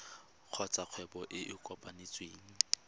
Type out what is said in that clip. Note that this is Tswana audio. kgotsa kgwebo e e kopetsweng